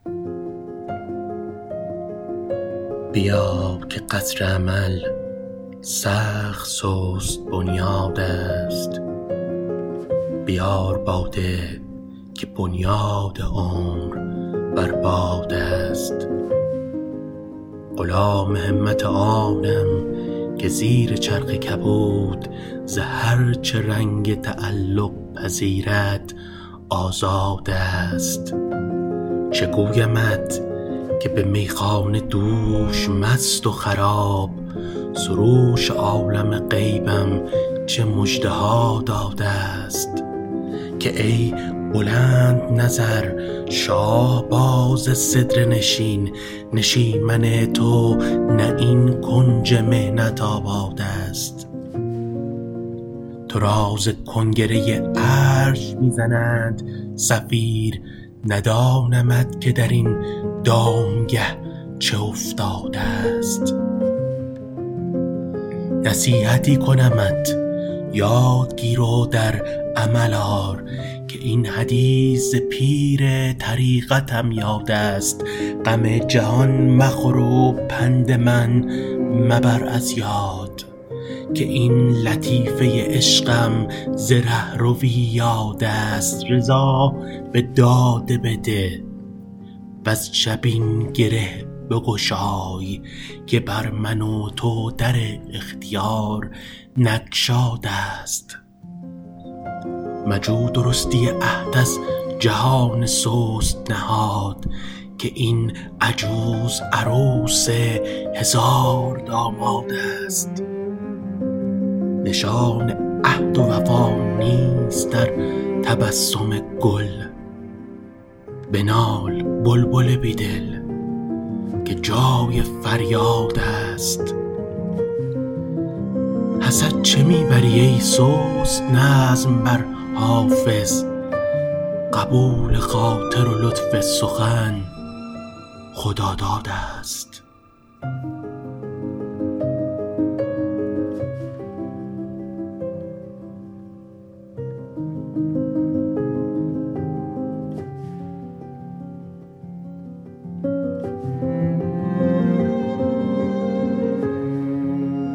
بیا که قصر امل سخت سست بنیادست بیار باده که بنیاد عمر بر بادست غلام همت آنم که زیر چرخ کبود ز هر چه رنگ تعلق پذیرد آزادست چه گویمت که به میخانه دوش مست و خراب سروش عالم غیبم چه مژده ها دادست که ای بلندنظر شاهباز سدره نشین نشیمن تو نه این کنج محنت آبادست تو را ز کنگره عرش می زنند صفیر ندانمت که در این دامگه چه افتادست نصیحتی کنمت یاد گیر و در عمل آر که این حدیث ز پیر طریقتم یادست غم جهان مخور و پند من مبر از یاد که این لطیفه عشقم ز رهروی یادست رضا به داده بده وز جبین گره بگشای که بر من و تو در اختیار نگشادست مجو درستی عهد از جهان سست نهاد که این عجوز عروس هزاردامادست نشان عهد و وفا نیست در تبسم گل بنال بلبل بی دل که جای فریادست حسد چه می بری ای سست نظم بر حافظ قبول خاطر و لطف سخن خدادادست